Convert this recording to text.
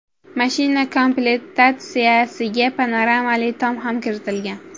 Mashina komplektatsiyasiga panoramali tom ham kiritilgan.